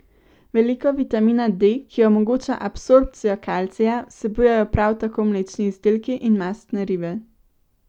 Veliko vitamina D, ki omogoča absorpcijo kalcija, vsebujejo prav tako mlečni izdelki in mastne ribe.